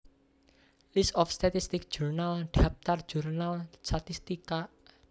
List of statistics journals dhaptar jurnal statistika